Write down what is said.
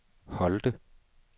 Holte